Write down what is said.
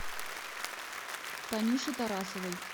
танюше тарасовой